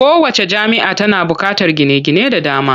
Kowacce jami'a tana buƙatar gine-gine da dama.